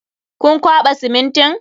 Kun kwaɓa simintin?